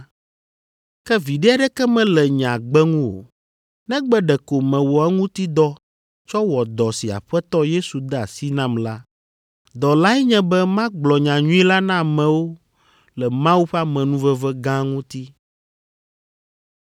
Ke viɖe aɖeke mele nye agbe ŋu o, negbe ɖeko mewɔ eŋuti dɔ tsɔ wɔ dɔ si Aƒetɔ Yesu de asi nam la. Dɔ lae nye be magblɔ nyanyui la na amewo le Mawu ƒe amenuveve gã ŋuti.